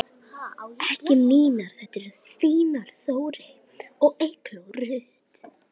Þínar Þórey og Eygló Rut.